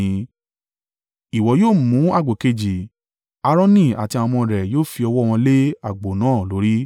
“Ìwọ yóò mú àgbò kejì, Aaroni àti àwọn ọmọ rẹ̀ yóò fi ọwọ́ wọn lé àgbò náà lórí.